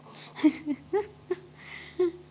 हा